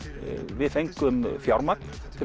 við fengum fjármagn til